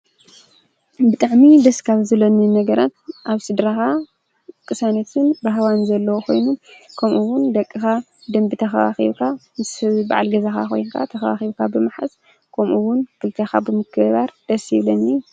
ብጣዕሚ ደስካፍ ዝለኒ ነገራት ኣብ ሲድራኻ ቅሳኖትን ብሃዋን ዘለዎ ኾይኑ ከምኡውን ደቅኻ ደምቢ ተኸዋኺብካ ምስብ በዓል ገዛኻ ኾይንካ ተኸዋኺብካ ብመሓዝ ቆምኡውን ክልተኻ ብምክባር ደስ ይብለኒ።